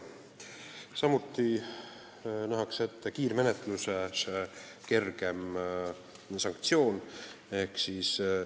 Samuti nähakse ette kergem sanktsioon kiirmenetluse korral.